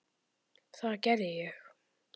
Það gerði ég.